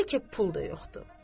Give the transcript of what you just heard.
Bəlkə pul da yoxdur.